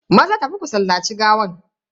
Maza tafi ku sallaci gawan.